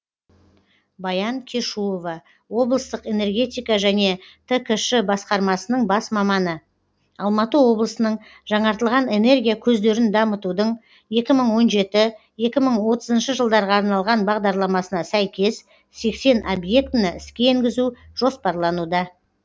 баян кешуова облыстық энергетика және ткш басқармасының бас маманы алматы облысының жаңартылатын энергия көздерін дамытудың екі мың он жеті екі мың отызыншы жылдарға арналған бағдарламасына сәйкес сексен объектіні іске енгізу жоспарлануда